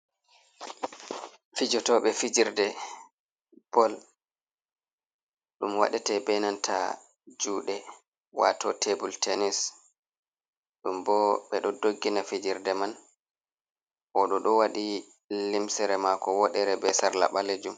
Fijotoɓe fijirde bol ɗum waɗete be nanta juɗe wato tebul tenis, ɗum bo ɓe ɗo doggina fijerde man, o ɗo ɗo wadi limsere mako woɗere be sarla balejum.